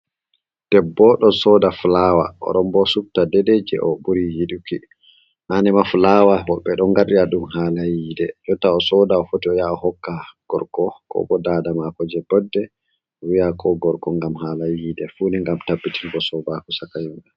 Debbo on ɗo sooda fulaawa, o ɗon bo subta deedey jey o ɓuri yiɗuki, mani ma fulaawa bo ɓe ɗo ngaɗira ɗum haala yiide, jotta o sooda o foti o yaa o hokka gorko, ko bo daada maako jey boɗɗe o wi'a ko gorko, ngam haala yiide fuuni ngam tabbitin go sobaaku saka yemɓe.